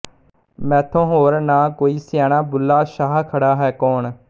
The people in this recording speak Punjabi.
ਮੈਥੋਂ ਹੋਰ ਨਾ ਕੋਈ ਸਿਆਣਾ ਬੁਲ੍ਹਾ ਸ਼ਾਹ ਖੜ੍ਹਾ ਹੈ ਕੌਣ